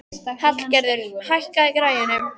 Hallgerður, hækkaðu í græjunum.